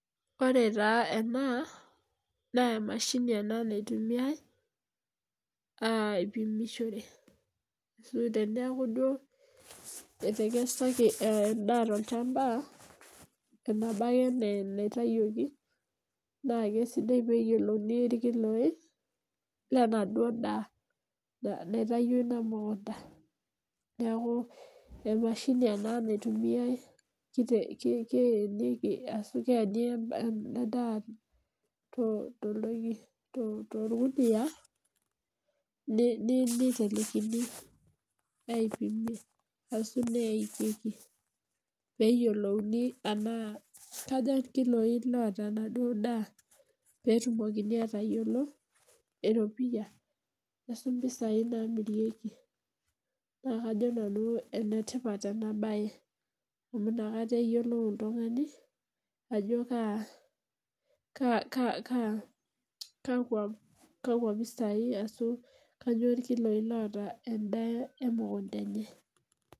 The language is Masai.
Ore taa ena naa, emashini ena naitumiae, aipimishore. Ashu tenaaku duo etekesaki endaa tolchamba, ena bake enaa enaitayioki naa kisidai pee eyiolouni irkiloi lenaa duo daa, naitayio ina mukunta. Neaku emashini ena naitumiae keenieki ashu keeni ena daa tooltoki torgunia nitelekini neipimi ashu neikeiki, pee eyiolouni enaa kaja irkiloi loota enaa duo daa, pee etumokini atayiolo eropia ashu, impisai namirieki naa, kajo nanu enetipat ena bae amu, inakata eyiolou oltungani ajo kaa kakwa pisai ashu, kainyioo irkiloi lotaa endaa emukunta enye.